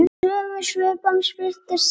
Í sömu svipan birtist Systa.